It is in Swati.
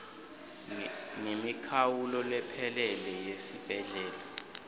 ngemikhawulo lephelele yesibhedlela